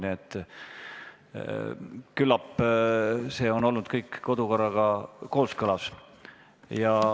Nii et küllap see kõik on olnud kodukorraga kooskõlas.